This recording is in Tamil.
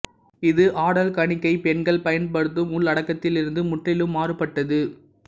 இது ஆடல் கணிகை பெண்கள் பயன்படுத்தும் உள்ளடக்கத்திலிருந்து முற்றிலும் மாறுபட்டது